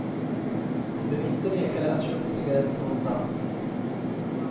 De blev inte nekade att köpa cigaretter någonstans.